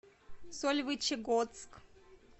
сольвычегодск